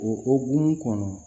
O ogu kɔnɔ